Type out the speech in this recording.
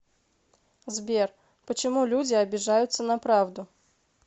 сбер почему люди обижаются на правду